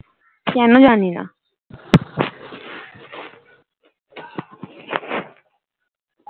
কেনো জানি না